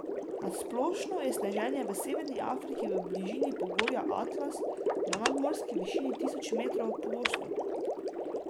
Na splošno je sneženje v severni Afriki v bližini pogorja Atlas, na nadmorski višini tisoč metrov, pogosto.